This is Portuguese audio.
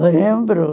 Lembro.